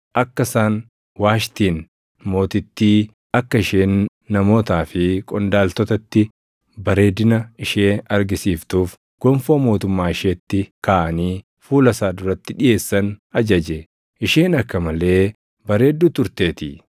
akka isaan Waashtiin mootittii akka isheen namootaa fi qondaaltotatti bareedina ishee argisiiftuuf gonfoo mootummaa isheetti kaaʼanii fuula isaa duratti dhiʼeessan ajaje; isheen akka malee bareedduu turteetii.